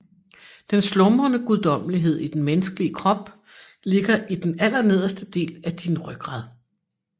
Den slumrende guddommelighed i den menneskelige krop ligger i den allernederste del af din rygrad